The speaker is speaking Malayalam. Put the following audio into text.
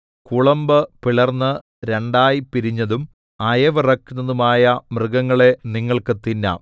കുളമ്പ് പിളർന്ന് രണ്ടായി പിരിഞ്ഞതും അയവിറക്കുന്നതുമായ മൃഗങ്ങളെ നിങ്ങൾക്ക് തിന്നാം